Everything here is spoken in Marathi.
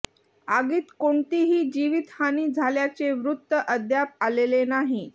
आगीत कोणतीही जीवीतहानी झाल्याचे वृत्त अद्याप आलेले नाही